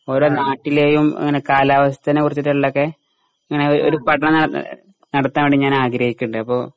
ഓരോ നാട്ടിലെയും ഇങ്ങനെ കാലാവസ്ഥേനെക്കുറിച്ചിട്ടിള്ളെക്കെ ഇങ്ങനെ ഒ ഒര് പഠനം ഏഹ് നടത്താൻ വേണ്ടി ഞാൻ ആഗ്രഹിക്ക്ണ്ട് അപ്പോ